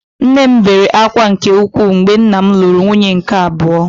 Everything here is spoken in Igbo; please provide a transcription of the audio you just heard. Nne m bere ákwá nke ukwuu mgbe nna m lụrụ nwunye nke abụọ